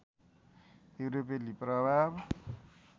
युरोपेली प्रभाव